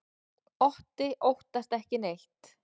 Otti óttast ekki neitt!